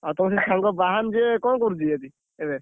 ତମର ଯଉ ସାଙ୍ଗ ବାହାନ ଯିଏ କଣ କରୁଛି, ଏବେ?